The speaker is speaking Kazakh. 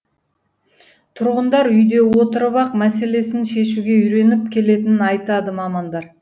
тұрғындар үйде отырып ақ мәселесін шешуге үйреніп келетінін айтады мамандар